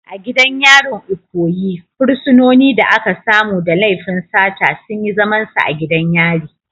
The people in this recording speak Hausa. A gidan yarin Ikoyi, fursunonin da aka samu da laifin sata sun yi zamansu a gidan yari.